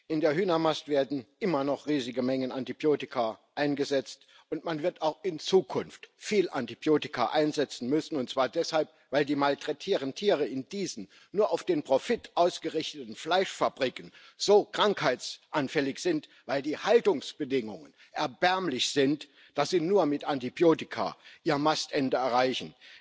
In der Hühnermast werden immer noch riesige Mengen Antibiotika eingesetzt, und man wird auch in Zukunft viel Antibiotika einsetzen müssen, und zwar deshalb, weil die malträtierten Tiere in diesen nur auf den Profit ausgerichteten Fleischfabriken so krankheitsanfällig sind, weil die Haltungsbedingungen erbärmlich sind, sodass sie nur mit Antibiotika ihr Mastende erreichen.